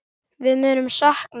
Við munum sakna þín.